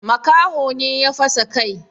Makaho ne ya fasa kai.